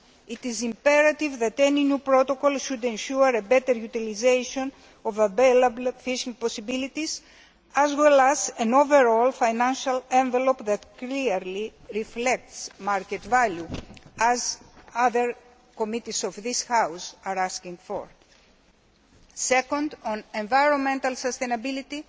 It is imperative that any new protocol should ensure a better utilisation of available fishing possibilities as well as an overall financial envelope that clearly reflects market value, as other committees of this House are asking for. Second, on environmental sustainability.